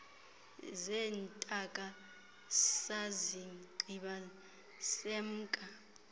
zeentaka sazigqiba semka